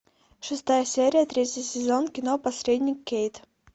шестая серия третий сезон кино посредник кейт